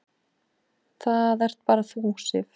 Það ert bara þú, Sif.